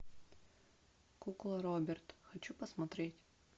кукла роберт хочу посмотреть